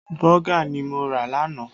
Bọ́gà ni mo rà lánàá